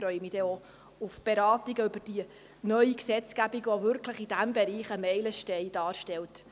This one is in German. Ich freue mich dann auf die Beratungen zur neuen Gesetzgebung, welche in diesem Bereich ein Meilenstein darstellt.